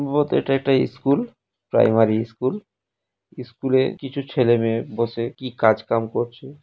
বহুত এটা একটা ইস্কুল প্রাইমারি স্কুল স্কুলে কিছু ছেলে মেয়ে বসে কি কাজ কাম করছে।